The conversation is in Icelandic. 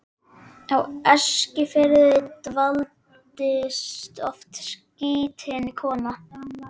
Á Eskifirði dvaldist oft skrýtin kona.